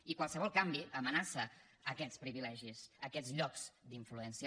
i qualsevol canvi amenaça aquests privilegis aquests llocs d’influència